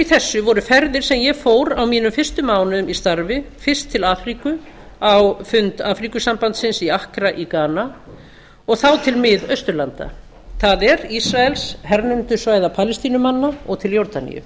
þessu voru ferðir sem ég fór á mínum fyrstu mánuðum í starfi fyrst til afríku á fund afríkusambandsins í accra í ghana og þá til miðausturlanda það er ísraels hernumdu svæða palestínumanna og til jórdaníu